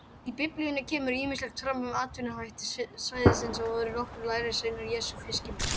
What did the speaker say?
Í Biblíunni kemur ýmislegt fram um atvinnuhætti svæðisins og voru nokkrir lærisveina Jesú fiskimenn.